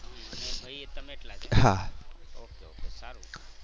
અને ભાઈ તમે એકલા okay okay સારું.